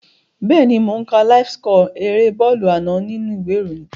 Bẹ́ẹ̀ni mò ó ń ka láíf síkọ̀ erée bọ́ọ̀lù àná nínú u ìwé ìròyìn